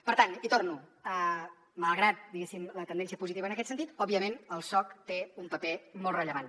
per tant hi torno malgrat diguéssim la tendència positiva en aquest sentit òbviament el soc té un paper molt rellevant